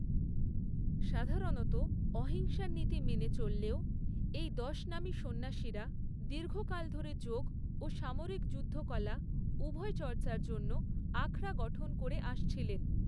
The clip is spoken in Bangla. সাধারণত অহিংসার নীতি মেনে চললেও, এই দশনামী সন্ন্যাসীরা দীর্ঘকাল ধরে যোগ ও সামরিক যুদ্ধ কলা, উভয় চর্চার জন্য আখড়া গঠন করে আসছিলেন।